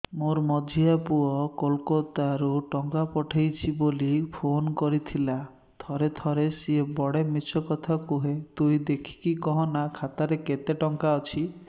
ମୋର ମଝିଆ ପୁଅ କୋଲକତା ରୁ ଟଙ୍କା ପଠେଇଚି ବୁଲି ଫୁନ କରିଥିଲା ଥରେ ଥରେ ସିଏ ବେଡେ ମିଛ କଥା କୁହେ ତୁଇ ଦେଖିକି କହନା ଖାତାରେ କେତ ଟଙ୍କା ଅଛି